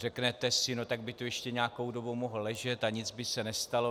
Řeknete si - no tak by tu ještě nějakou dobu mohl ležet a nic by se nestalo.